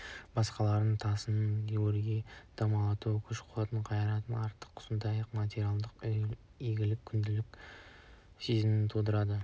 басқалардың тасының өрге домалауы күш-қуатының қайратының артықтығы сондай-ақ материалдық игілігі күншілдік сезімін тудырады